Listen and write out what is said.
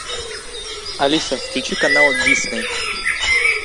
алиса включи канал дисней